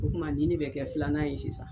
O kuma ɲin ne bɛ kɛ filanan ye sisan.